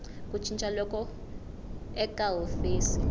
ku cinca loku eka hofisi